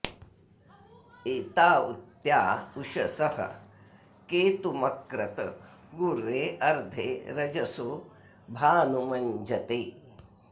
एता उ त्या उषसः केतुमक्रत पूर्वे अर्धे रजसो भानुमञ्जते